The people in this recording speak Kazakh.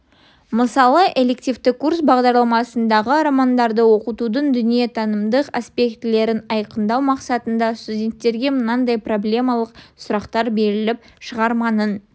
мысалы элективті курс бағдарламасындағы романдарды оқытудың дүниетанымдық аспектілерін айқындау мақсатында студенттерге мынадай проблемалық сұрақтар беріліп шығарманың